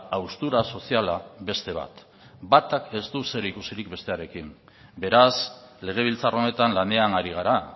haustura soziala beste bat batak ez du zerikusirik bestearekin beraz legebiltzar honetan lanean ari gara